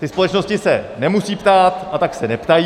Ty společnosti se nemusí ptát, a tak se neptají.